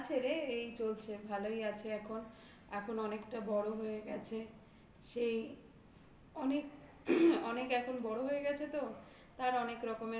আছে রে. এই চলছে. ভালোই আছে এখন. এখন অনেকটা বড় হয়ে গেছে সেই অনেক অনেক এখন বড় হয়ে গেছে তো তার অনেক রকমের কথা